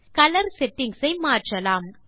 colour settings ஐ மாற்றலாம்